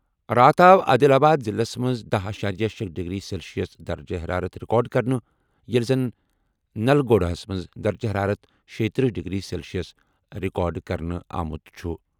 راتھ آو عادل آباد ضِلعس منٛز 10.6 ڈگری سیلسیس درجہٕ حرارت رِکارڈ کرنہٕ ییٚلہِ زن نَلگونٛڈاہس منٛز درجہٕ حرارت 36 ڈگری سیٚلسِیَس رِکارڈ کرنہٕ آمُت چھُ ۔